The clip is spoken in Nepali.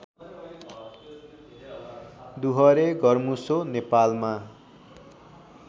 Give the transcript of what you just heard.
डुहरे घरमुसो नेपालमा